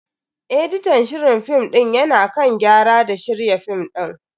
Editan shirin film din ya na kan gyara da shirya film din.